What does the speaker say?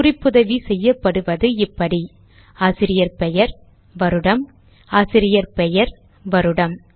குறிப்புதவி செய்யப்படுவது இப்படிஆசிரியர் பெயர் வருடம் ஆசிரியர் பெயர் வருடம்